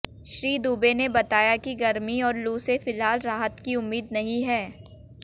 श्री दुबे ने बताया कि गर्मी और लू से फिलहाल राहत की उम्मीद नहीं है